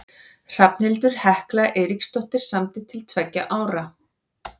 Hrafnhildur Hekla Eiríksdóttir samdi til tveggja ára.